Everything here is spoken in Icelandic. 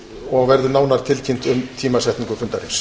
og verður nánar tilkynnt um tímasetningu fundarins